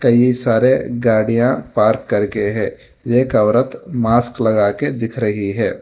कई सारे गाड़ियां पार्क करके है एक औरत मास्क लगाकर दिख रही है।